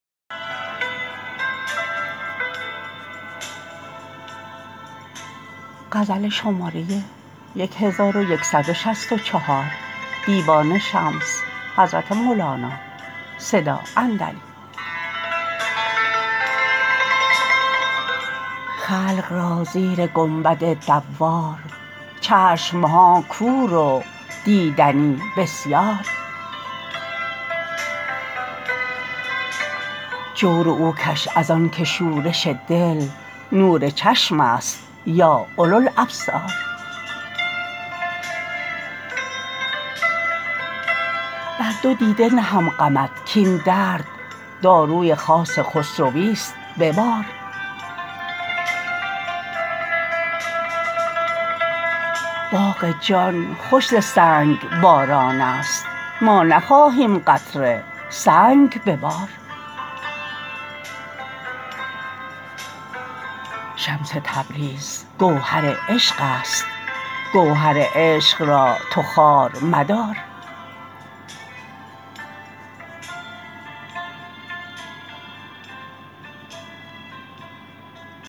خلق را زیر گنبد دوار چشم ها کور و دیدنی بسیار جور او کش از آنک شورش دل نور چشمست یا اولوالابصار بر دو دیده نهم غمت کاین درد داروی خاص خسرویست به بار باغ جان خوش ز سنگ بارانست ما نخواهیم قطره سنگ ببار شمس تبریز گوهر عشقست گوهر عشق را تو خوار مدار